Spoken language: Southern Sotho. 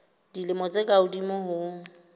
dilemo tse ka hodimo ho